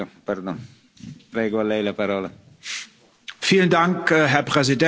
Herr Präsident, verehrte Abgeordnete, Frau Kommissionspräsidentin!